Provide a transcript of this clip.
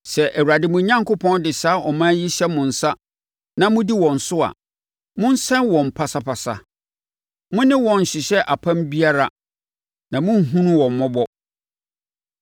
Sɛ Awurade mo Onyankopɔn de saa aman yi hyɛ mo nsa na modi wɔn so a, monsɛe wɔn pasapasa. Mo ne wɔn nnhyehyɛ apam biara na monnhunu wɔn mmɔbɔ.